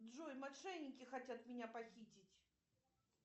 джой мошенники хотят меня похитить